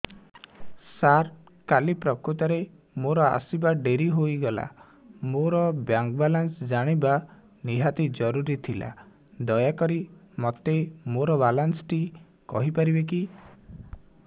ସାର କାଲି ପ୍ରକୃତରେ ମୋର ଆସିବା ଡେରି ହେଇଗଲା ମୋର ବ୍ୟାଙ୍କ ବାଲାନ୍ସ ଜାଣିବା ନିହାତି ଜରୁରୀ ଥିଲା ଦୟାକରି ମୋତେ ମୋର ବାଲାନ୍ସ ଟି କହିପାରିବେକି